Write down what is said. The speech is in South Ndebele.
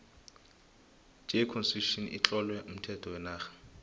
j constitution itlowe umthetho wenarha